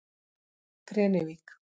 Grenivík